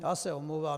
Já se omlouvám.